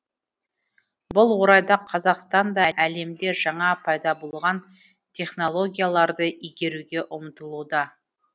бұл орайда қазақстан да әлемде жаңа пайда болған технологияларды игеруге ұмтылуда